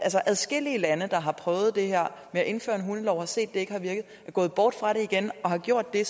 adskillige lande har prøvet det her med at indføre en hundelov har set at det ikke har virket er gået bort fra det igen har gjort det